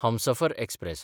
Humsafar express